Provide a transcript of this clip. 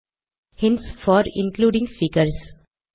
hints for including figures